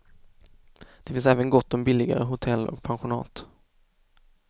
Det finns även gott om billigare hotell och pensionat.